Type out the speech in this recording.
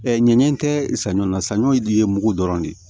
ɲanɲɛ tɛ saɲɔ na saɲɔ ye de ye mugu dɔrɔn de ye